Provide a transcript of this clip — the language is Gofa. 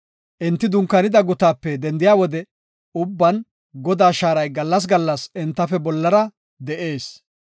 Enti dunkaanida gutaape dendiya wode ubban Godaa shaaray gallas gallas entafe bollara de7ees.